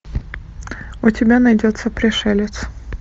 у тебя найдется пришелец